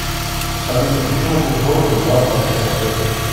салют при чем был создан главполитпросвет